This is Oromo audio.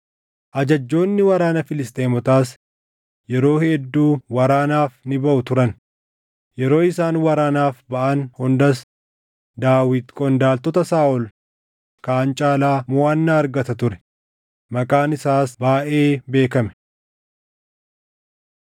Ajajjoonni waraana Filisxeemotaas yeroo hedduu waraanaaf ni baʼu turan; yeroo isaan waraanaaf baʼan hundas Daawit qondaaltota Saaʼol kaan caalaa moʼannaa argata ture; maqaan isaas baayʼee beekame.